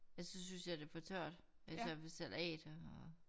Ellers så synes jeg det er for tørt altså ved salat og